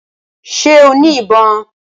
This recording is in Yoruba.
Ṣẹ́ o ní ìbọn?